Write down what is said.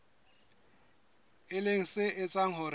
e leng se etsang hore